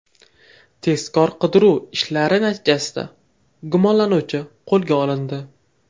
Tezkor-qidiruv ishlari natijasida gumonlanuvchi qo‘lga olindi.